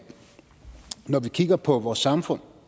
når vi kigger på vores samfund